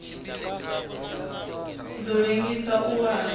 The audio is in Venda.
ḓo ḽengisa u wa ha